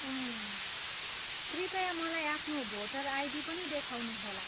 उम्! कृपया मलाई आफ्नो भोटर आइडी पनि देखाउनुहोला।